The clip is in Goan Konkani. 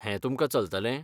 हें तुमकां चलतलें?